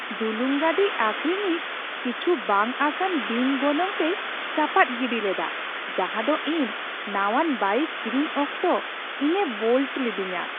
ᱰᱩᱞᱩᱝ ᱜᱟᱹᱰᱤ ᱟᱹᱠᱷᱨᱤᱧᱤᱡ ᱠᱤᱪᱷᱩ ᱵᱟᱝᱼᱟᱥᱟᱱ ᱵᱤᱱ ᱜᱚᱱᱚᱝ ᱛᱮᱭ ᱪᱟᱯᱟᱫ ᱜᱤᱰᱤ ᱞᱮᱫᱟ ᱡᱟᱸᱦᱟ ᱫᱚ ᱤᱧ ᱱᱟᱣᱟᱱ ᱵᱟᱭᱤᱠ ᱠᱤᱨᱤᱧ ᱚᱠᱛᱚ ᱤᱧᱮ ᱵᱳᱞᱴ ᱞᱤᱫᱤᱧᱟ ᱾